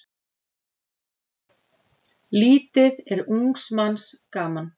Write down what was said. Lítið er ungs manns gaman.